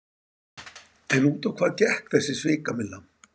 En út á hvað gekk þessi svikamylla?